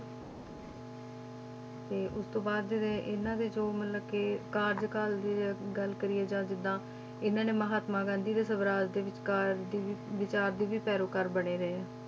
ਤੇ ਉਸ ਤੋਂ ਬਾਅਦ ਦੇ ਇਹਨਾਂ ਦੇ ਜੋ ਮਤਲਬ ਕਿ ਕਾਰਜਕਾਲ ਦੀ ਜੇ ਗੱਲ ਕਰੀਏ ਜਾਂ ਜਿੱਦਾਂ ਇਹਨਾਂ ਨੇ ਮਹਾਤਮਾ ਗਾਂਧੀ ਦੇ ਸਵਰਾਜ ਦੇ ਵਿੱਚਕਾਰ ਦੀ ਵੀ ਵਿਚਾਰ ਦੇ ਵੀ ਪੈਰੋਕਾਰ ਬਣੇ ਰਹੇ ਆ,